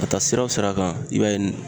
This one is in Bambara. Ka taa sira wo sira kan , i b'a ye